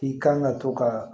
I kan ka to ka